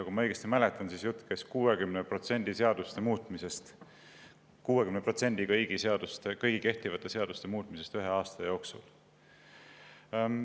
Kui ma õigesti mäletan, siis jutt käis 60% seaduste muutmisest: 60% kõigi kehtivate seaduste muutmisest ühe aasta jooksul.